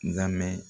N ka mɛn